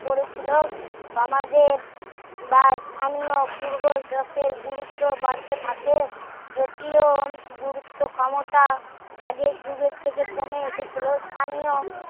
করেছিল সমাজের বা স্থানীয় পূর্ব দাসের গুরুত্ব বাড়তে থাকে যদিও গুরুত্ব ক্ষমতা আগের যুগের থাকে কমে এসেছিলো স্থানীয়